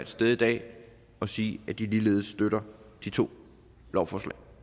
stede i dag og sige at de ligeledes støtter de to lovforslag